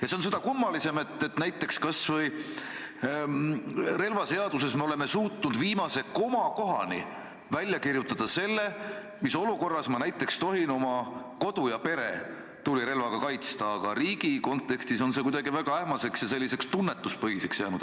Ja see on seda kummalisem, et näiteks relvaseaduses me oleme suutnud n-ö viimase komakohani kirja panna, mis olukorras ma tohin oma kodu ja peret tulirelvaga kaitsta, aga riigi kontekstis on see kuidagi väga ähmaseks ja selliseks tunnetuspõhiseks jäänud.